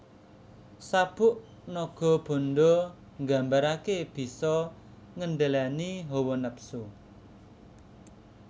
Sabuk Nagabanda nggambarake bisa ngendhaleni hawa nepsu